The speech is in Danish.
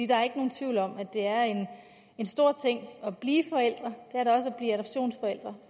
der er ikke nogen tvivl om at det er en stor ting at blive forældre og